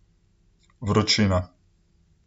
Vročina.